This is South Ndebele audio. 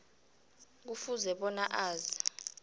kufuze bona azi